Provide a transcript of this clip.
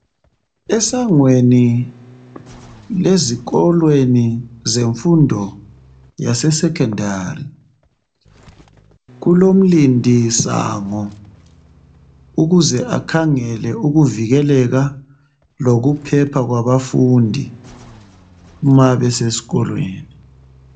Esangweni lezikolweni zemfundo yase secondary kulomlindi sango ukuze akhangele ukuvikeleka lokuphepha kwabafundi nxa besesikolweni